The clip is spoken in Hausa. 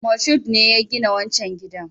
Moshood ne ya gina wancan gidan